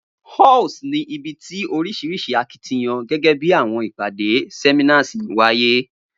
Halls ni ibi ti orisirisi akitiyan, gẹgẹ bi awọn ipade, seminars waye